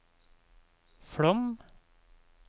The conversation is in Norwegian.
Flåm